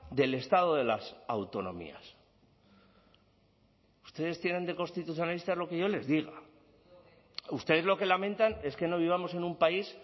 del estado de las autonomías ustedes tienen de constitucionalistas lo que yo les diga ustedes lo que lamentan es que no vivamos en un país